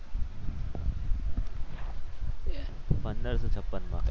પંદરસો છપ્પન માં.